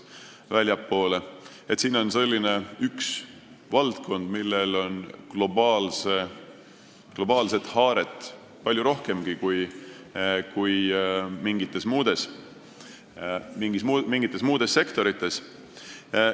See on selline valdkond, millel on globaalset haaret palju rohkem kui mingites muudes sektorites.